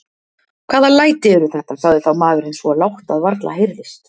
Hvaða læti eru þetta, sagði þá maðurinn svo lágt að varla heyrðist.